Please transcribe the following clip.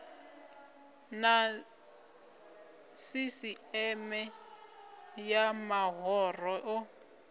na sisieme ya mahoro o